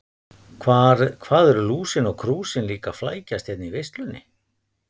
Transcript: Hvað eru Lúsin og Krúsin líka að flækjast hérna í veislunni.